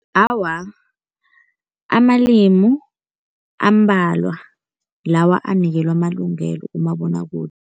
Awa, amalimu ambalwa lawa anikelwa amalungelo kumabonwakude.